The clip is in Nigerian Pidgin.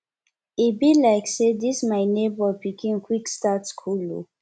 e be like say dis my nebor pikin quick start school o